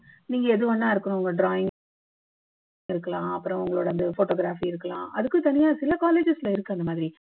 நீங்க எது வேணும்னா இருக்கலாம் உங்க drawing இருக்கலாம் அப்பறம் உங்களோட அந்த photography இருக்கலாம் அதுக்கும் தனியா சில colleges ல இருக்கு அந்த மாதிரி